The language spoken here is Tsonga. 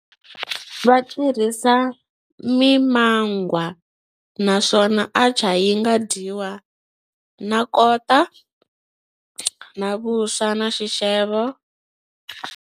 Va tirhisa mimangwa naswona atchar yi nga dyiwa na kota na vuswa na xixevo.